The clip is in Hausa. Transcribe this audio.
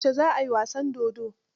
Yaushe za ai wasan dodon?